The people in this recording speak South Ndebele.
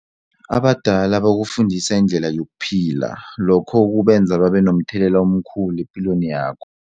Abadala bakufundisa indlela yokuphila lokho kubenza babe nomthelela omkhulu epilweni yakho.